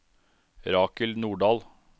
Rakel Nordahl